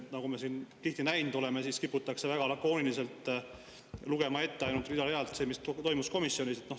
Nagu me tihti näinud oleme, siin kiputakse väga lakooniliselt, rida-realt ette lugema ainult seda, mis toimus komisjonis.